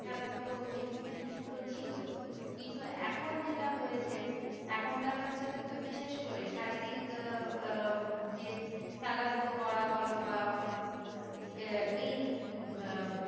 খেলা ধুলো এই জিনিসগুলো ছিল কিন্তু এখন যেটা হয়েছে এখনকার বাচ্ছাদের তো বিশেষ করে শারীরিক আহ আহ যে খেলা ধুলো করা বলো বা উম আহ এই আহ